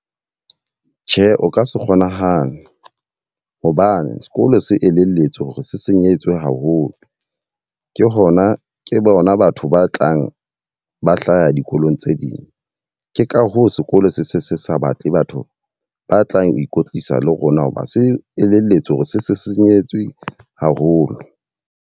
Tjhe, o ka se kgonahale. Hobane sekolo se elelletswe hore se senyehetswe haholo. Ke hona ke bona batho ba tlang ba hlaha dikolong tse ding. Ke ka hoo sekolo se se se sa batle batho ba tlang ho ikwetlisa le rona hoba se elelletswe hore se se senyehetswe haholo.